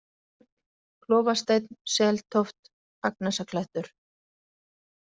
Efrikarl, Klofasteinn, Seltóft, Agnesarklettur